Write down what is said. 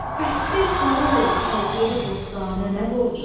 Əsdi qara yel, çəltiyə, bostanə nə borcum?